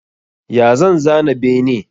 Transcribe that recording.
Ya zan zana bene?